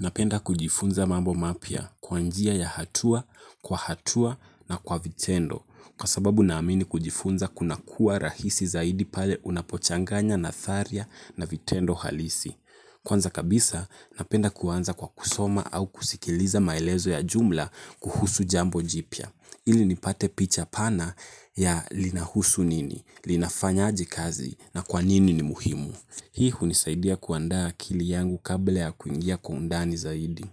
Napenda kujifunza mambo mapya kwa njia ya hatua, kwa hatua na kwa vitendo. Kwa sababu naamini kujifunza kuna kuwa rahisi zaidi pale unapochanganya natharia na vitendo halisi. Kwanza kabisa, napenda kuanza kwa kusoma au kusikiliza maelezo ya jumla kuhusu jambo jipya. Ili nipate picha pana ya linahusu nini, linafanyaje kazi na kwa nini ni muhimu. Hii hunisaidia kuandaa akili yangu kabla ya kuingia kwa undani zaidi.